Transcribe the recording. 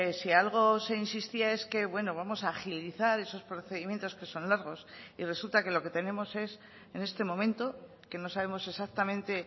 si algo se insistía es que bueno vamos a agilizar esos procedimientos que son largos y resulta que lo que tenemos es en este momento que no sabemos exactamente